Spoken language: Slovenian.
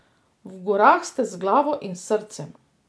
V gorah ste z glavo in s srcem?